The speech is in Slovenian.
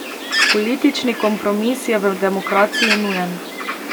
Politični kompromis je v demokraciji nujen.